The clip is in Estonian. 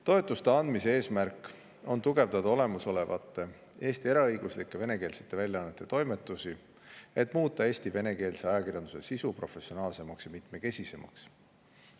Toetuste andmise eesmärk on tugevdada olemasolevate Eesti eraõiguslike venekeelsete väljaannete toimetusi, et muuta Eesti venekeelse ajakirjanduse sisu professionaalsemaks ja mitmekesisemaks.